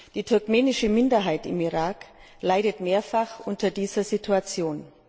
Die turkmenische Minderheit im Irak leidet mehrfach unter dieser Situation.